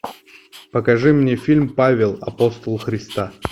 покажи мне фильм павел апостол христа